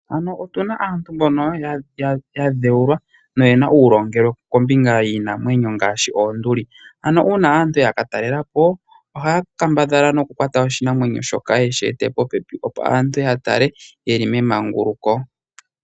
Otuna aantu mbono ya dhewula, noyena uulongelwe kombinga yiinamwenyo, ngaashi oonduli. Ano uuna aantu ya katalelapo, ohaya kambadhala nokukwata oshinamwenyo shoka yeshi ete popepi, opo aantu yatale ye li memanguluko.